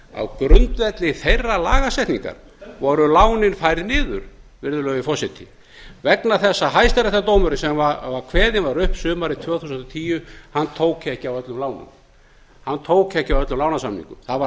á grundvelli þeirrar lagasetningar voru lánin færð niður virðulegi forseti vegna þess að hæstaréttardómurinn sem kveðinn var upp sumarið tvö þúsund og tíu tók ekki á öllum lánum hann tók ekki á öllum lánasamningum það var